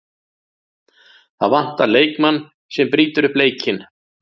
Það vantar leikmann sem brýtur upp leikinn.